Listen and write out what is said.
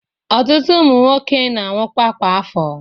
Ọtutụ ụmụ nwoke na-anwụkwa kwa afo.